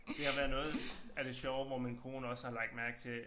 Det har været noget af det sjove hvor min kone også har lagt mærke til